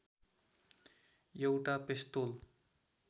एउटा पेस्तोल